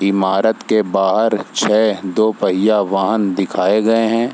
इमारत के बाहर छ दो पहिया वाहन दिखाए गए है ।